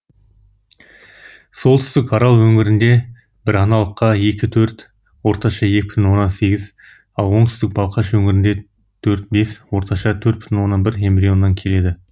солтүстік арал өңірінде біраналыққа екі төрт орташа екі бүтын оннан сегіз ал оңтүстік балқаш өңірінде төрт бес орташа төрт бүтын онан бір эмбрионнан келеді